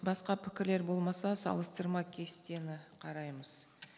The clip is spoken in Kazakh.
басқа пікірлер болмаса салыстырма кестені қараймыз